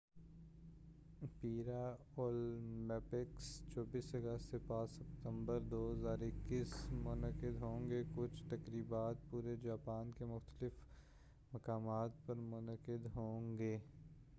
پیرا Olympics 24 اگست سے 5 ستمبر 2021 ء منعقد ہوںگے کچھ تقریبات پورے جاپان کے مختلف مقامات پر منعقد ہوںگے